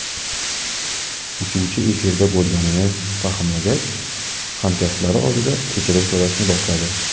Uchuvchi efirda bo‘lganini fahmlagach, hamkasblari oldida kechirim so‘rashni boshladi.